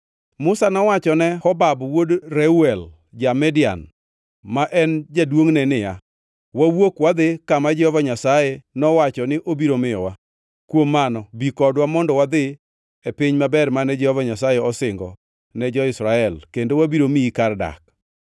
Musa nowacho ne Hobab wuod Reuel ja-Midian, ma en jaduongʼne niya, “Wawuok wadhi kama Jehova Nyasaye nowacho ni obiro miyowa. Kuom mano bi kodwa mondo wadhi e piny maber mane Jehova Nyasaye osingo ne jo-Israel kendo wabiro miyi kar dak.”